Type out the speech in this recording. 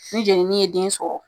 Ni jɛnini ye den sɔrɔ